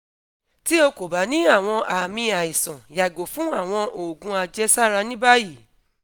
ti o ko ba ni awọn aami aisan yago fun awọn oogun ajesara ni bayi